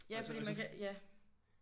Altså og så